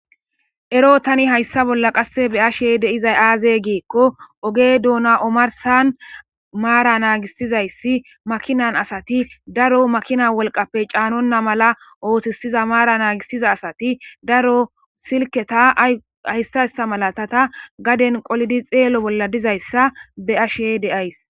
ero tani hayssa bolla qasse be ashe de'izay aaze giikko oge duuna omarsan maara naagisizayssi makinan asati daro makina wolqappe caanonna mala ootissiza maara naagisiza asati daro silketa ahystayssa malatata gaden qolidi xeelo bolla dizayssa be ashe deays